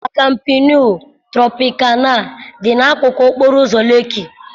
La Kampenu Tropịkana dị n'akụkụ okporo ụzọ Lekki.